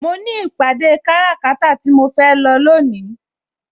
Mo ní ìpàdé kára kata tí mo fẹ́ lọ lónìí.